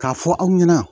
K'a fɔ aw ɲɛna